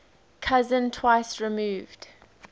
cousin twice removed